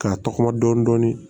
K'a tɔgɔma dɔɔnin dɔɔnin